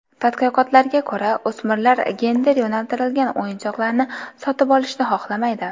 Tadqiqotlarga ko‘ra, o‘smirlar gender yo‘naltirilgan o‘yinchoqlarni sotib olishni xohlamaydi.